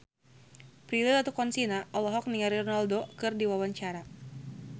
Prilly Latuconsina olohok ningali Ronaldo keur diwawancara